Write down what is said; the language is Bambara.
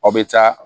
Aw bɛ taa